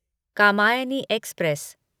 Kamayani express